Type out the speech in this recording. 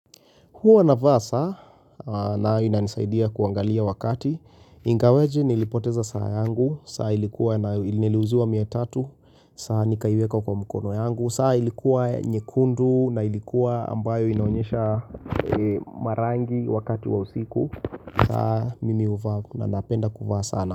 Huwa navaa saa na inanisaidia kuangalia wakati, ingaweje nilipoteza saa yangu, saa ilikuwa na niliuziwa mia tatu, saa nikaiweka kwa mkono yangu, saa ilikuwa nyekundu na ilikuwa ambayo inaonyesha marangi wakati wa usiku, saa mimi huvaa na napenda kuvaa sana.